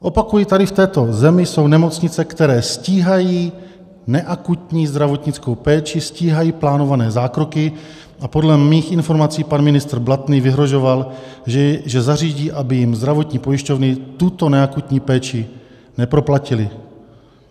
Opakuji, tady v této zemi jsou nemocnice, které stíhají neakutní zdravotnickou péči, stíhají plánované zákroky, a podle mých informací pan ministr Blatný vyhrožoval, že zařídí, aby jim zdravotní pojišťovny tuto neakutní péči neproplatily.